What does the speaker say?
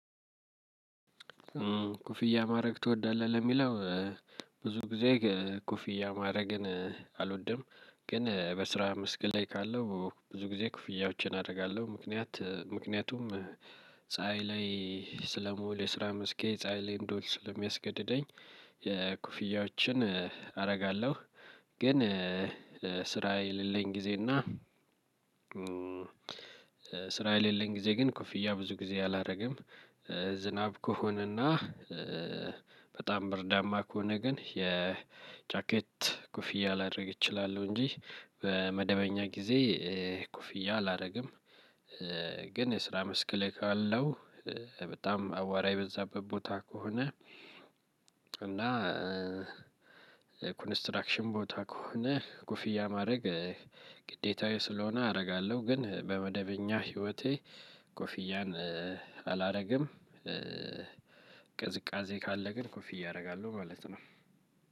ኮፍያ ማድረግ ትወዳለህ ለሚለው? ብዙ ጊዜ ኮፍያ ማድረግን አልወድም። ግን በስራ መስክ ላይ ካለው ብዙ ጊዜ ኮፍያዎችን አደርጋለሁ ምክንያት ምክንያቱም ፀሀይ ላይ ስለሙውል የስራ መስኬ ፀሀይ ላይ እንድውል ስለሚያስገድደኝ የኮፊያዎችን አደርጋለሁ። ግን ስራ የሌለኝ ጊዜ እና ስራ የሌለኝ ጊዜ ግን ኩፍያ ብዙ ጊዜ አላደርግም። ዝናብ ከሆነና በጣም ብርዳማ ከሆነ ግን የጃኬት ኮፍያ ላደርግ እችላለሁ እንጂ በመደበኛ ጊዜ ኮፍያ አላደርግም። ግን የስራ መስክ ላይ ካለው በጣም አዋራ የበዛበት ቦታ ከሆነ እና ኮንስትራክሽን ቦታ ከሆነ ኮፊያ ማድረግ ግዴታዬ ስለሆነ አደርጋለሁ። ግን በመደበኛ ህይወቴ ኮፊያን አላደርግም። ቅዝቃዜ ካለ ግን ኮፍያ አረጋለሁ ማለት ነው።